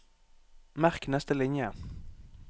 Merk neste linje